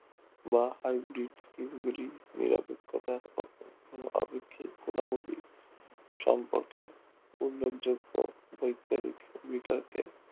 বা scheme গুলির নিরপেক্ষতা আপেক্ষিক গুণাবলী সম্পর্কে উল্লেখযোগ্য বৈজ্ঞানিক বিতর্কে